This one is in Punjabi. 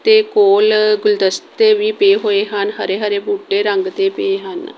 ਦੇ ਕੋਲ ਗੁਲਦਸ਼ਤੇ ਵੀ ਪਏ ਹੋਏ ਹਨ ਹਰੇ-ਹਰੇ ਬੂਟੇ ਰੰਗ ਦੇ ਪਏ ਹਨ।